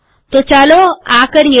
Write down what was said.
તો ચાલો આ કરીએ